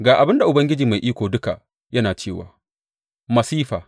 Ga abin da Ubangiji Mai Iko Duka yana cewa, Masifa!